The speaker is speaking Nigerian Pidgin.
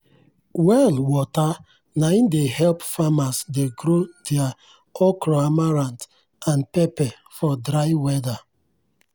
well water nai dey help farmers dey grow their okroamaranth and pepper for dry weather.